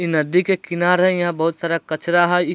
ई नदी के किनार यहाँ बहुत सारा कचरा हई। ई --